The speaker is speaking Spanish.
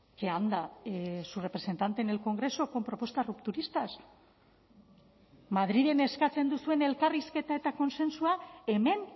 que anda su representante en el congreso con propuestas rupturistas madrilen eskatzen duzuen elkarrizketa eta kontsentsua hemen